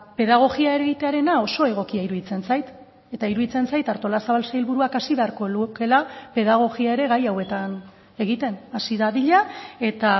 pedagogia egitearena oso egokia iruditzen zait eta iruditzen zait artolazabal sailburuak hasi beharko lukeela pedagogia ere gai hauetan egiten hasi dadila eta